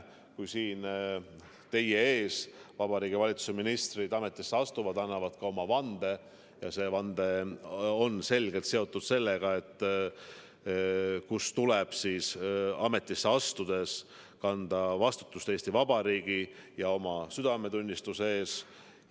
Kui siin teie ees Vabariigi Valitsuse ministrid ametisse astuvad, annavad nad vande ja see vanne on selgelt seotud sellega, et ametisse astudes tuleb kanda vastutust Eesti Vabariigi ja oma südametunnistuse ees.